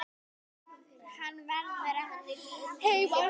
Hann verður að heiman.